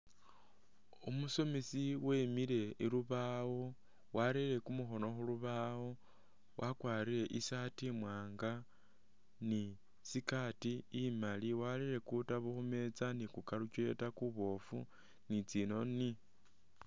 Umusomesi wemile ilubawo wareye kumukhono khulubawo , wakwarire i’shirt imwanga ni skirt imali warere kutabo khu metsa ni ku calculator kubofu ni tsi’noni.